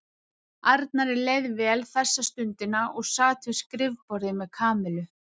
Arnari leið vel þessa stundina og sat við skrifborðið með Kamillu.